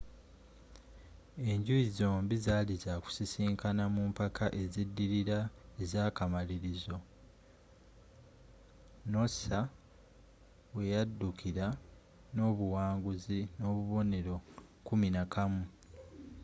enjuyi zombie zaali za kusisikana mu mpaka eziddirira ezaakamalirizo noosa weyaddukira n’obuwanguzi n’obubonero kuminakamu 11